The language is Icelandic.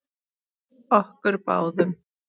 Okkur báðum.